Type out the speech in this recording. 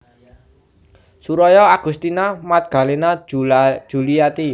Suroyo Agustina Magdalena Djuliati